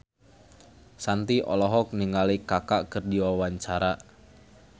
Shanti olohok ningali Kaka keur diwawancara